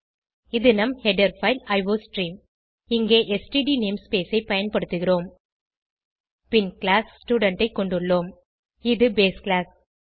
இது நம் header file iostream இங்கே ஸ்ட்ட் நேம்ஸ்பேஸ் ஐ பயன்படுத்துகிறோம் பின் கிளாஸ் ஸ்டூடென்ட் ஐ கொண்டுள்ளோம் இது பேஸ் கிளாஸ்